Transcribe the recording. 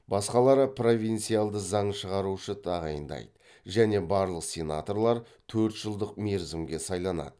басқалары провинциалды заң шығарушы тағайындайды және барлық сенаторлар төрт жылдық мерзімге сайланады